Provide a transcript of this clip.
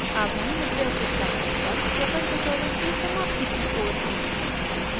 अब हम LibreOffice writer पर spoken tutorial की समाप्ति की ओर हैं